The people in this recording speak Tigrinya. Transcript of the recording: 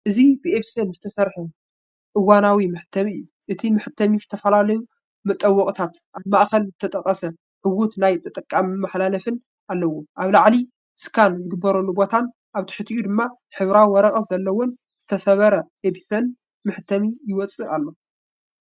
እዚ ብኤፕሰን ዝተሰርሐ እዋናዊ መሕተሚ እዩ። እቲ መሕተሚ ዝተፈላለዩ መጠወቒታትን ኣብ ማእከል ዝተጠቕሰ ዕዉት ናይ ተጠቃሚ መተሓላለፊን ኣለዎ። ኣብ ላዕሊ ስካን ዝግበረሉ ቦታን ኣብ ትሕቲኡ ድማ ሕብራዊ ወረቐት ዘለዎን ዝተሰብረ ኤፕሰን መሕተሚ ይወጽእ ኣሎ።